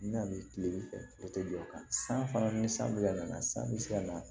N bɛna tile fɛ o tɛ jɔ o kan san fana ni san bɛna na san bɛ se ka na